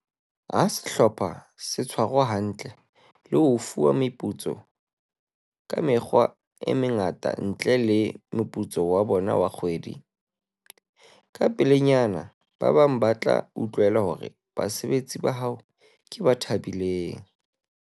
Ha sehlopha se tshwarwa hantle le ho fuwa meputso ka mekgwa e mengata ntle le meputso ya bona ya kgwedi, kapelenyana ba bang ba tla utlwela hore basebetsi ba hao ke ba thabileng.